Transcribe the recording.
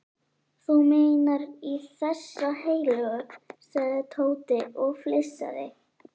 Þú meinar í þessa heilögu? sagði Tóti og flissaði.